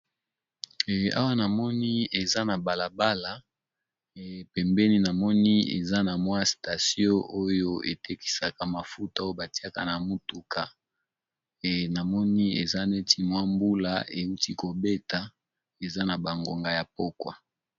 Awa namoni eza na balabala ee pembeni namoni eza station oyo etekisaka mafuta batiyaka na mutuka namoni eza neti mbula ewuti kobeta ezanabangonga yapokwa